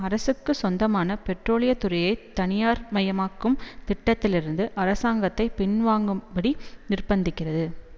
அரசுக்கு சொந்தமான பெட்ரோலியத் துறையைத் தனியார் மயமாக்கும் திட்டத்திலிருந்து அரசாங்கத்தை பின்வாங்கும்படி நிர்பந்திக்கிறது